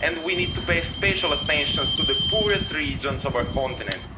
and we need to pay special attention to the poorest regions of our continent.